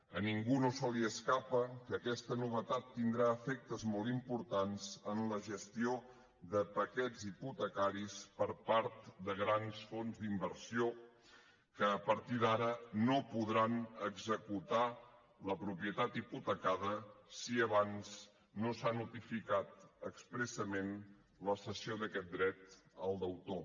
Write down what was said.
a ningú no se li escapa que aquesta novetat tindrà efectes molt importants en la gestió de paquets hipotecaris per part de grans fons d’inversió que a partir d’ara no podran executar la propietat hipotecada si abans no s’ha notificat expressament la cessió d’aquest dret al deutor